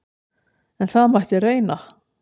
En það mætti reyna!